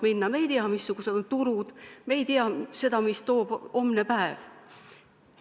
Me ei tea, milliseks kujunevad turud, me ei tea, mida toob homne päev.